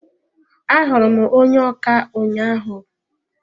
A hụrụ m onye ọkà ụnyaahụ.